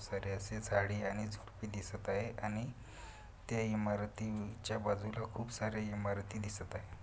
सारे असे झाड आणि झुडपं दिसत आहे आणि ते इमारतीच्या बाजूला खूप सारे इमारती दिसत आहे.